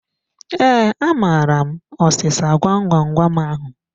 Ee, amaara m ọsịsa gwam gwam gwam ahu